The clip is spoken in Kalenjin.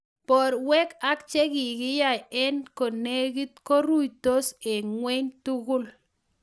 Borwek ak chekokiyoc eng konekit ko ruitos eng' wei tugul